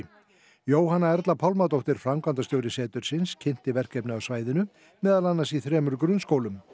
Jóhanna Erla Pálmadóttir framkvæmdastjóri setursins kynnti verkefnið á svæðinu meðal annars í þremur grunnskólum